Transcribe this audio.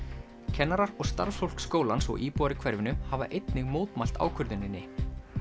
kennarar og starfsfólk skólans og íbúar í hverfinu hafa einnig mótmælt ákvörðuninni